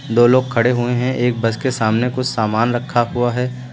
दो लोग खड़े हुए हैं एक बस के सामने कुछ सामान रखा हुआ है।